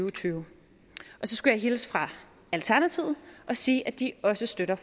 og tyve så skulle jeg hilse fra alternativet og sige at de også støtter